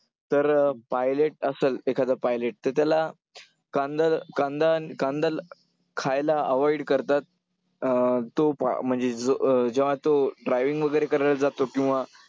तर pilot असंल एखादं pilot तर त्याला कांदा खायला avoid करतात, अं तो म्हणजे जो अं जेव्हा तो driving वगैरे करायला जातो किंवा